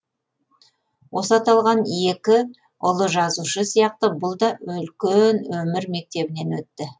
осы аталған екі ұлы жазушы сияқты бұл да үлкен өмір мектебінен өтті